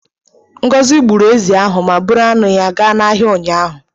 Ngọzị gburu ezi ahụ ma buru anụ ya gaa n'ahịa ụnyaahụ